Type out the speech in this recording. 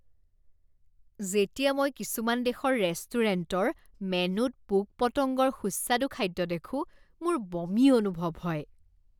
যেতিয়া মই কিছুমান দেশৰ ৰেষ্টুৰেণ্টৰ মেনুত পোক পতংগৰ সুস্বাদু খাদ্য দেখোঁ মোৰ বমি অনুভৱ হয়।